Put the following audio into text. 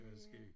Det var skæg